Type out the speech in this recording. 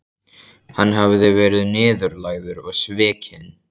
Hann hafði verið niðurlægður og svikinn.